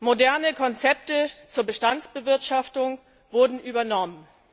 Moderne Konzepte zur Bestandsbewirtschaftung wurden übernommen.